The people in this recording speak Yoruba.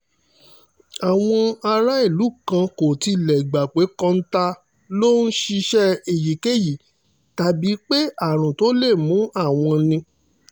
àwọn aráàlú kan kò tilẹ̀ gbà pé kọ́ńtà ló ń ṣiṣẹ́ èyíkéyìí tàbí pé àrùn tó lè mú àwọn ni